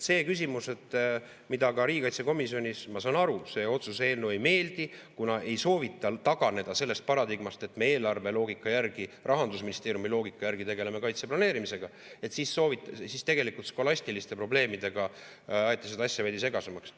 See küsimus, mida ka riigikaitsekomisjonis – ma saan aru, see otsuse eelnõu ei meeldi, kuna ei soovita taganeda sellest paradigmast, et me eelarveloogika järgi, Rahandusministeeriumi loogika järgi tegeleme kaitseplaneerimisega, siis tegelikult skolastiliste probleemidega aeti seda asja veidi segasemaks.